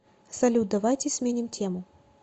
салют давайте сменим тему